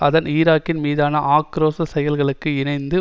அதன் ஈராக்கின் மீதான ஆக்கிரோஷச் செயல்களுக்கு இணைந்து